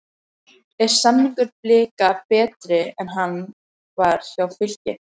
Er samningur Blika betri en hann var hjá Fylki?